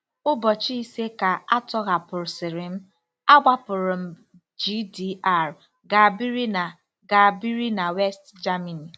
Ụbọchị ise ka a tọhapụsịrị m, agbapụrụ m GDR gaa biri na gaa biri na West Germany.